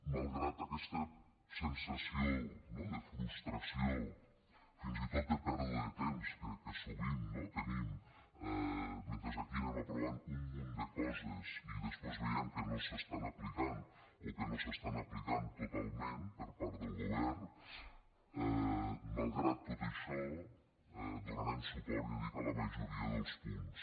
malgrat aquesta sensació no de frustració fins i tot de pèrdua de temps que sovint tenim mentre aquí anem aprovant un munt de coses i després veiem que no s’estan aplicant o que no s’estan aplicant totalment per part del govern malgrat tot això donarem suport ja dic a la majoria dels punts